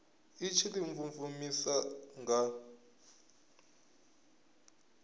i tshi ḓi mvumvusa nga